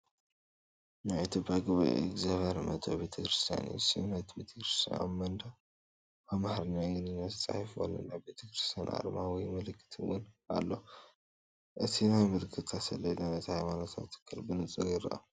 ናይ ኢትዮጵያ ጉባኤ እግዚኣብሔር መእተዊ ቤተ ክርስቲያን እዩ። ስም ናይቲ ቤተክርስትያን ኣብ መንደቕ ብኣምሓርኛን እንግሊዝኛን ተጻሒፉ ኣሎ። ናይ ቤተ ክርስቲያን ኣርማ ወይ ምልክት እውን ኣሎ። እቲ ናይ ምልክታ ሰሌዳ ነቲ ሃይማኖታዊ ትካል ብንጹር ይርአ።